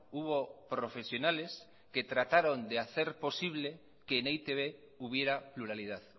hubo profesionales que trataron de hacer posible que en e i te be hubiera pluralidad